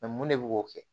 mun de bɛ k'o kɛ